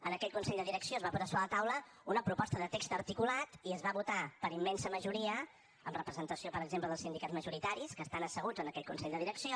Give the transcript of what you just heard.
en aquell consell de direcció es va posar sobre la taula una proposta de text articulat i es va votar per immensa majoria amb representació per exemple dels sindicats majoritaris que estan asseguts en aquell consell de direcció